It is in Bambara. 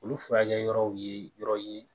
Olu furakɛ yɔrɔw ye yɔrɔ ye